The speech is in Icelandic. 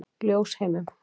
Ljósheimum